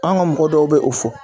An ga mɔgɔ dɔw bɛ o fɔ